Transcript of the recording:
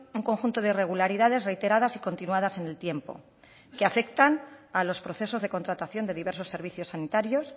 un conjunto de irregularidades reiteradas y continuadas en el tiempo que afectan a los procesos de contratación de diversos servicios sanitarios